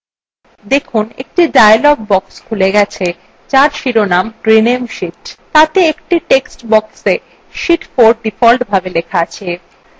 দেখুন একটি dialog box খুলে গেছে there শিরোনাম rename sheet তাতে একটি টেক্সট boxa sheet 4 ডিফল্টভাবে লেখা আছে